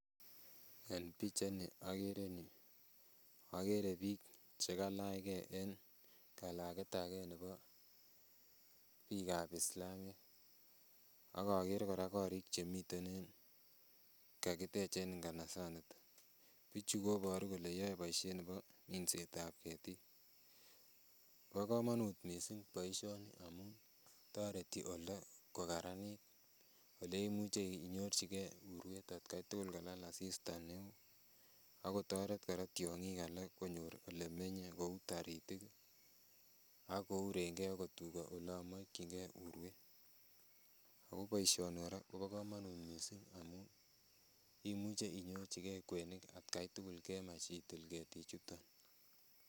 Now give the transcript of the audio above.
En pichait ni okere en yuu okere biik chekalachgee en kalaket ab gee nebo biik ab Islamiek ak okere kora korik chemiten en yuu kakitech en nganasaniton bichu koboru kole yoe boisiet nebo minset ab ketik . Bo komonut missing boisioni amun toreti oldo kokaranit oleimuche inyorchigee urwet atkai tugul kalal asista neoo akotoret kora tiong'ik alak konyor elemenye kou taritik ih ak kouren gee akot tuga olan olon mokyin gee urwet ako boisioni kora kobo komonut missing amun imuche inyorchigee kwenik atkai tugul kemach itil ketik chuton